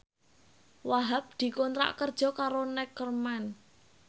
Wahhab dikontrak kerja karo Neckerman